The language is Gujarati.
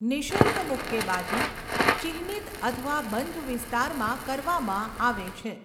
નિઃશુલ્ક મુક્કેબાજી ચિહ્નિત અથવા બંધ વિસ્તારમાં કરવામાં આવે છે.